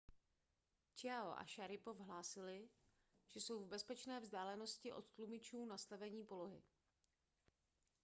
chiao a šaripov hlásili že jsou v bezpečné vzdálenosti od tlumičů nastavení polohy